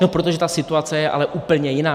No protože ta situace je ale úplně jiná.